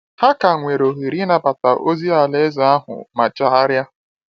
Ha ka nwere ohere ịnabata ozi Alaeze ahụ ma chegharia.